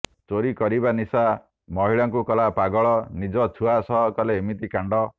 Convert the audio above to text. ଚୋରି କରିବା ନିଶା ମହିଳାଙ୍କୁ କଲା ପାଗଳ ନିଜ ଛୁଆ ସହ କଲେ ଏମିତି କାଣ୍ଡ